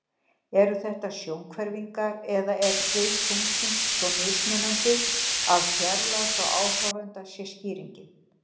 Eru þetta sjónhverfingar eða er firð tunglsins svo mismunandi að fjarlægð frá áhorfanda sé skýringin?